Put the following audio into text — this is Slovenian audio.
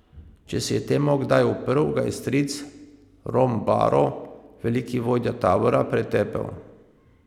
Če se je temu kdaj uprl, ga je stric, rom baro, veliki vodja tabora, pretepel.